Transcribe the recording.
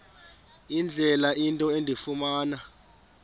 indlela into endifuna